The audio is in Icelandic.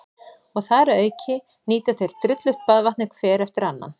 Og þar að auki nýta þeir drullugt baðvatnið hver eftir annan.